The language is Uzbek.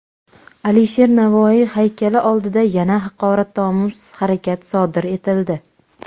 Alisher Navoiy haykali oldida yana haqoratomuz harakat sodir etildi.